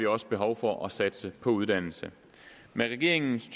også behov for at satse på uddannelse med regeringens